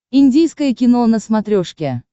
индийское кино на смотрешке